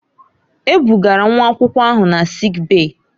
E bugara nwa akwụkwọ ahụ na sịịk bèyí.